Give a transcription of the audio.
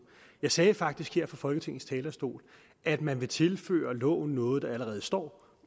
jeg sagde faktisk her fra folketingets talerstol at man vil tilføre loven noget der allerede står